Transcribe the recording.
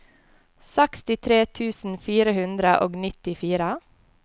sekstitre tusen fire hundre og nittifire